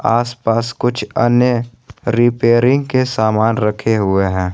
आस पास कुछ अन्य रिपेयरिंग के सामान रखें हुए हैं।